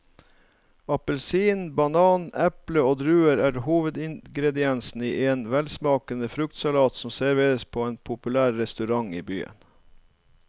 Appelsin, banan, eple og druer er hovedingredienser i en velsmakende fruktsalat som serveres på en populær restaurant i byen.